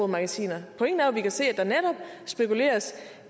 magasiner pointen er vi kan se at der netop spekuleres